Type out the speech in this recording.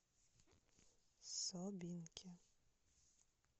собинке